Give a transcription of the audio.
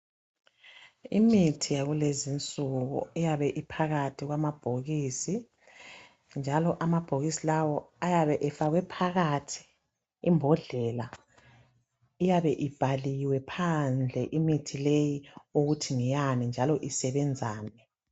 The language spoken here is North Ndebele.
Imithi yakulezi nsuku iyabe iphakathi kwamabhokisi njalo amabhokisi lawa ayabe efakwe phakathi imbodlela. Iyabe ibhaliwe phandle imithi le ukuthi ngeyani njalo isebenzani.